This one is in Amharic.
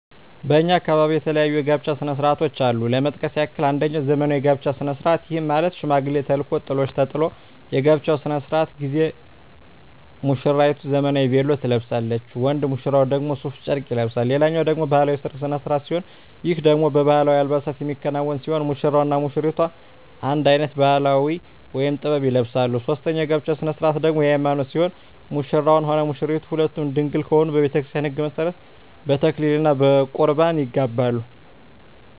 በእኛ አካባቢ የተለያዩ የጋብቻ ስነ ስርዓቶች አሉ ለመጥቀስ ያክል አንጀኛው ዘመናዊ የጋብቻ ስነ ስርዓት ይህም ማለት ሽማግሌ ተልኮ ጥሎሽ ተጥሎ የጋብቻው ስነ ስርዓት ጊዜ ሙስራይቱ ዘመናዊ ቬሎ ትለብሳለች ወንድ ሙሽራው ደግሞ ሡፍ ጨርቅ ይለብሳል ሌላኛው ደግሞ ባህላዊ የሰርግ ስነ ስርዓት ሲሆን ይህ ደግሞ በባህላዊ አልባሳት የሚከናወን ሲሆን ሙሽራው እና ሙሽሪቷ አንድ አይነት ባህላዊ(ጥበብ) ይለብሳሉ ሶስተኛው የጋብቻ ስነ ስርዓት ደግሞ የሀይማኖት ሲሆን ሙሽራውም ሆነ ሙሽራይቷ ሁለቱም ድንግል ከሆኑ በቤተክርስቲያን ህግ መሠረት በተክሊል እና በቁርባን ይጋባሉ።